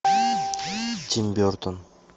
тим бертон